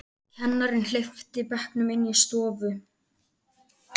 Kennarinn hleypti bekknum inn í stofu.